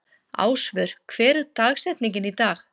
Ásvör, hver er dagsetningin í dag?